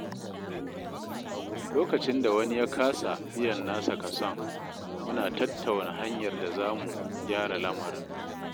Lokacin da wani ya kasa biyan nasa kason, muna tattauna hanyar da zamu gyara lamarin.